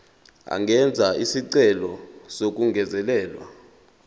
angenza isicelo sokungezelelwa